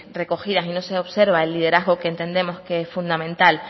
recogidas y no se observa el liderazgo que entendemos que es fundamental